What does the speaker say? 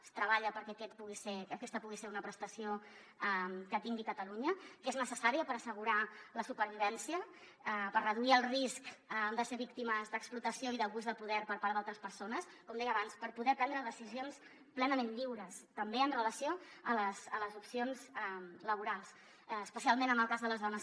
es treballa perquè aquesta pugui ser una prestació que tingui catalunya perquè és necessària per assegurar la supervivència per reduir el risc de ser víctimes d’explotació i d’abús de poder per part d’altres persones com deia abans per poder prendre decisions plenament lliures també amb relació a les opcions laborals especialment en el cas de les dones